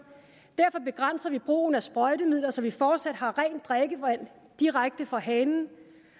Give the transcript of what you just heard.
derfor begrænser vi brugen af sprøjtemidler så vi fortsat har rent drikkevand direkte fra hanen